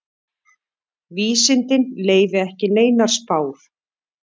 Vísindin leyfi ekki neinar spár.